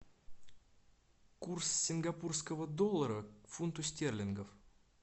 курс сингапурского доллара к фунту стерлингов